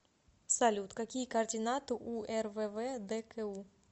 салют какие координаты у рввдку